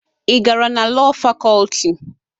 Ị gara na Lọọ Fakọlti?